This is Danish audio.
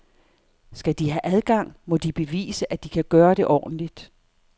Skal de have adgang, må de bevise, at de kan gøre det ordentligt.